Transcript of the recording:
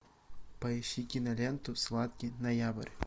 поищи киноленту сладкий ноябрь